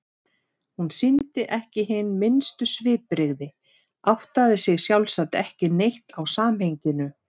Hún sýndi ekki hin minnstu svipbrigði, áttaði sig sjálfsagt ekki neitt á samhenginu.